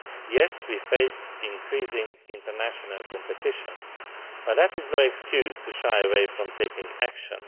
Yes, we face increasing international competition, but that is no excuse to shy away from taking action.